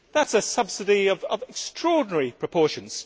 That is a subsidy of extraordinary proportions.